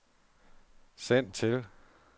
send til